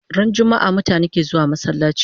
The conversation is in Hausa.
Ran jummaa mutane ke zuwa masallachi